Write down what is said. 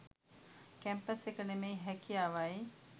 campus එක නෙමෙයි හැකියාවයි